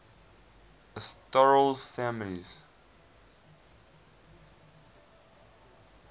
asterales families